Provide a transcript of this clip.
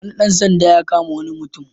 Wani ɗan sanda ya kama wani mutum.